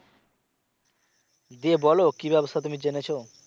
জ্বি বলো কি ব্যাবসা তুমি জেনেছো?